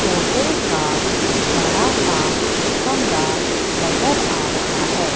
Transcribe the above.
Hotel का बड़ा सा कमरा नजर आ रहा है।